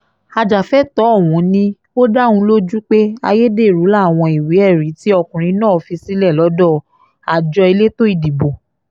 ajàfẹ́tọ̀ọ́ ọ̀hún ni ó dá òun lójú pé ayédèrú làwọn ìwé-ẹ̀rí tí ọkùnrin náà fi sílẹ̀ lọ́dọ̀ àjọ elétò ìdìbò